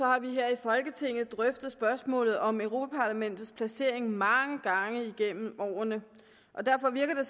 har vi her i folketinget drøftet spørgsmålet om europa parlamentets placering mange gange igennem årene og derfor virker det